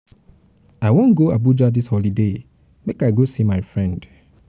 i wan go abuja dis holiday make i go see my friend.